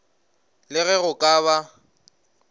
le ge go ka ba